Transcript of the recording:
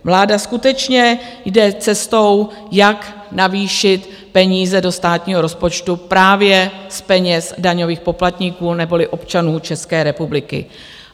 Vláda skutečně jde cestou, jak navýšit peníze do státního rozpočtu právě z peněz daňových poplatníků neboli občanů České republiky.